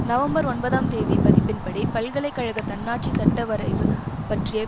November ஒன்பதாம் தேதி பதிப்பின்படி பல்கலை கழக தன்னாட்சி சட்ட வரைவு பற்றிய